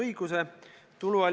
Aitäh!